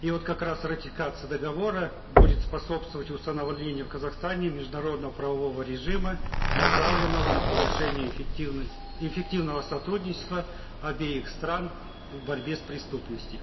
и вот как раз ратификация договора будет способствовать установлению в казахстане международного правового режима направленного на повышение эффективного сотрудничества обеих стран в борьбе с преступностью